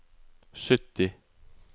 sytti